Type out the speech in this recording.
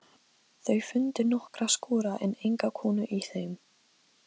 Var hann að spyrja hvort ég ætti systur?